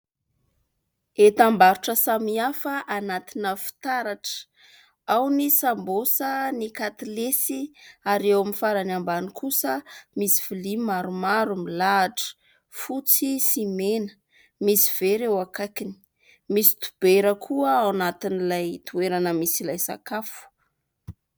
Entam-barotra samy hafa anatina fitaratra. Ao ny sambosa, ny katilesy ary eo amin'ny farany ambany kosa misy lovia maromaro milahatra, fotsy sy mena misy vera eo akaikiny, misy dibera koa ao anatin'ilay toerana misy ilay sakafo.